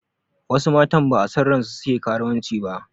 Wasu matan ba'a son ransu suke karuwanci ba